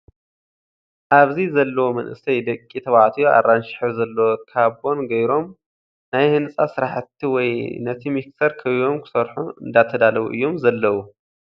ኣብዚ ዘለው መናእሰይ ደቂ ተባዕትዮ ኣራንሺ ሕብሪ ዘለዎ ካቦን ገይሮም ናይ ህንፃ ስራሕቲ ወይ ንቲ ሚክሰር ከቢቦም ክሰርሑ እንዳተዳለው እዮም ዘለው ።